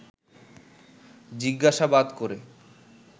জিজ্ঞাসাবাদ করে